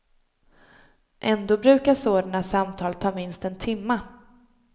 Ändå brukar sådana samtal ta minst en timma.